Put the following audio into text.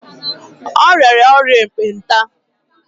O rịara ọrịa ekpenta.